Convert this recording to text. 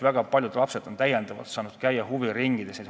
Väga paljud lapsed on saanud täiendavalt huviringides käia.